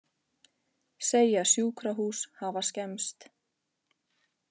Segja sjúkrahús hafa skemmst